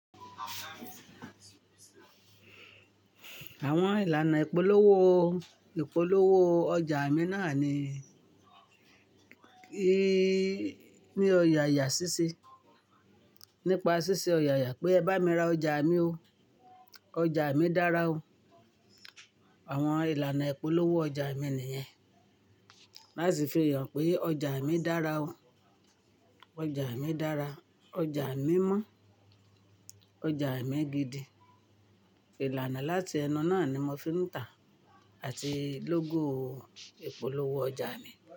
Àwọn ìlànà ìpolówó, ìpolówó ọjà mi náà ni, ni ọ̀yàyà ṣíṣe. Nípa ṣíṣe ọ̀yàyà pé ẹ bá mi ra ọjà mi ó, ọjà mi dára o. Àwọn ìlànà ìpolówó ọjà mi nìyẹn. Láti fi hàn pé ọjà mi dára o, ọjà mi dára, ọjà mi mọ́, ọjà mi gidi. Ìlànà láti ẹnu náà ni mo fi ń tà àti lógò ìpolówó ọjà mi.